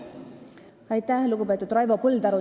Aitäh, lugupeetud Raivo Põldaru!